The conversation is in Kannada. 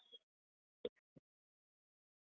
.